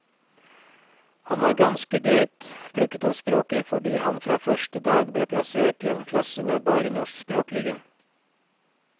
Han har ganske greit plukket opp språket, fordi han fra første dag ble plassert i en klasse med bare norskspråklige.